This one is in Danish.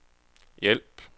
hjælp